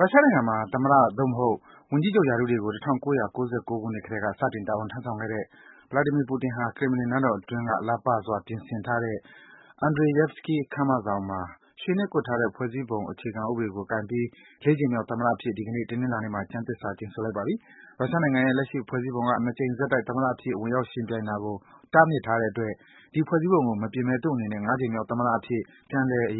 ရုရှားနိုင်ငံမှာ သမ္မတ၊ သို့မဟုတ် ဝန်ကြီးချုပ် ရာထူးတွေကို ၁၉၉၉ ခုနှစ်ကတည်းက စတင် တာဝန်ထမ်းဆောင်ခဲ့တဲ့ Vladimir Putin ဟာ ကရင်မလင် နန်းတော်အတွင်းက လှပစွာ ပြင်ဆင်ထားတဲ့ Andreyevsky ခမ်းမဆောင်မှာ ရွှေနဲ့ကွပ်ထားတဲ့ ဖွဲ့စည်းပုံစာအုပ်ကို ကိုင်ပြီး ၄ ကြိမ်မြောက် သမ္မတအဖြစ် ဒီကနေ့ တနင်္လာနေ့မှာ ကျမ်းသစ္စာ ကျိန်ဆိုလိုက်ပါပြီ။ ရုရှားနိုင်ငံရဲ့ လက်ရှိ ဖွဲ့စည်းပုံက ၂ ကြိမ်ဆက်တိုက် သမ္မတအဖြစ် ဝင်ရောက် ယှဉ်ပြိုင်တာကို တားမြစ်ထားတဲ့အတွက် ဒီ ဖွဲ့စည်းပုံကို မပြင်ဘဲ သူ့အနေနဲ့ ၅ ကြိမ်မြောက် သမ္မတအဖြစ် ပြန်လည် အ